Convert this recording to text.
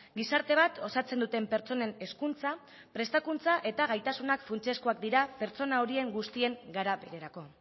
gizarte bat osatzen duten pertsonen hezkuntza prestakuntza eta gaitasunak funtsezkoak dira pertsona horien guztien garapenerako